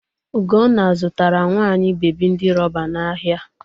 Ugonna zụtara nwa anyị bebi ndi rọba n'ahịa.